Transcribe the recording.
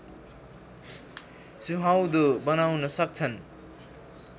सुहाउँदो बनाउन सक्छन्